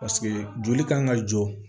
Paseke joli kan ka jɔ